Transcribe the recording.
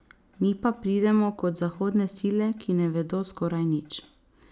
Mi pa pridemo kot zahodne sile, ki ne vedo skoraj nič.